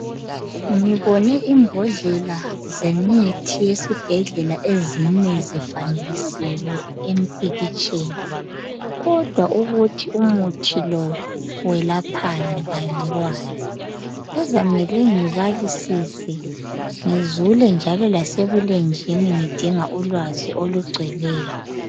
ngibone imbodlela zemithi eyesibhedlela ezine zifanekisiwe empikitsheni kodwa ukuthi umuthi lo welaphani angikwazi kuzamele ngiabalisise ngizule njalo lasebulenjini ngidinga ulwazi olugcweleyo